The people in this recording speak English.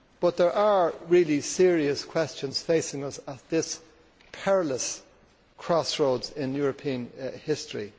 There are really serious questions facing us at this perilous crossroads in European history.